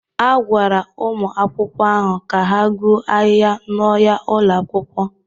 A gwara ụmụ akwụkwọ ahụ ka ha gbuo ahịhịa n'ọhịa ụlọ akwụkwọ.